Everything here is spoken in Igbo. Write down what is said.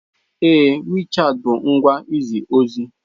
Ee, WeChat bụ ngwa izi ozi.